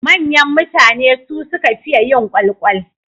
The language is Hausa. Manyan mutane su suka fiye yin kwalkwal.